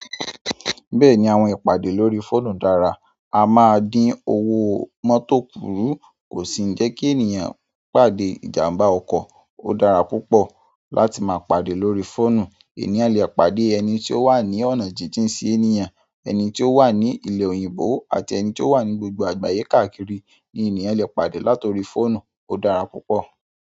Bẹ́ẹ̀ni àwọn ìpàdé lórí fóònù dára. A máa dín owó mọ́tọ̀ kúrú. Kò sì ń jẹ́ kí ènìyàn pàdé ìjàmbá ọkọ̀. Ó dára púpọ̀ láti máa pàdé lórí fóònù. Ènìyàn lè pàdé ẹni tí ó wà ní ọ̀nà jíjìn sí ènìyàn, ẹni tí ó wà ní ilẹ̀ òyìnbó àti ẹni tí ó wà ní gbogbo àgbáyé káàkiri ni ènìyàn lè pàdé lá tọrí fóònù. Ó dára púpọ̀.